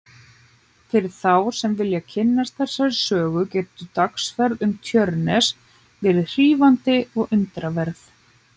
Fyrir þá sem vilja kynnast þessari sögu getur dagsferð um Tjörnes verið hrífandi og undraverð.